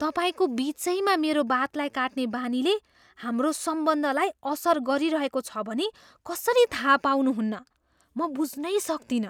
तपाईँको बिचैमा मेरो बातलाई काट्ने बानीले हाम्रो सम्बन्धलाई असर गरिरहेको छ भनी कसरी थाहा पाउनुहुन्न? म बुझ्नै सक्तिनँ।